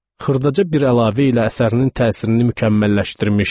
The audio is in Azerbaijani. Xırdaca bir əlavə ilə əsərinin təsirini mükəmməlləşdirmişdi.